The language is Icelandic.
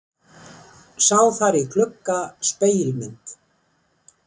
Sá þar í glugga spegilmynd.